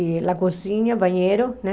E a cozinha, banheiro, né?